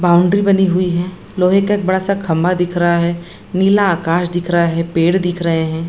Boundary बनी हुई है। लोहे का एक बड़ा सा खम्भा दिख रहा है। नीला आकाश दिख रहा है। पेड़ दिख रहे है।